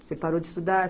Você parou de estudar?